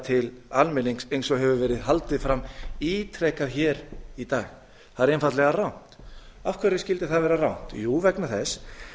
til almennings eins og hefur verið haldið fram ítrekað í dag það er einfaldlega rangt af hverju skyldi það vera rangt jú vegna þess